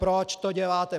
Proč to děláte?